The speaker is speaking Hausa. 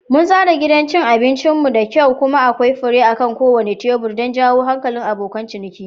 Mun tsara gidan abincin mu da kyau kuma akwai fure akan kowane tebur don jawo hankalin abokan ciniki.